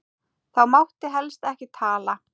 Þá mátti helst ekki tala.